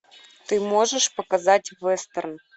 ты можешь показать вестерн